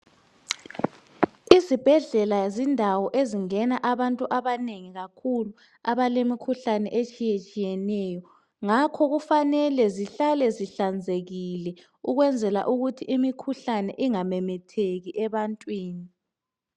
Izibhedlela zindawo ezingena abantu abanengi kakhulu abalemikhuhlane etshiyatshiyeneyo. Ngakho kufanele zihlale zihlanzekile ukwenzela ukuthi imikhuhlane ingamemetheki ebantwini.